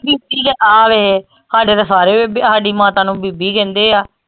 ਬੀਬੀ ਤਾਂ ਆ ਵੇ ਹਾਡੇ ਤਾਂ ਸਾਰੇ ਹਾਡੀ ਮਾਤਾ ਨੂੰ ਬੀਬੀ ਕਹਿੰਦੇ ਆ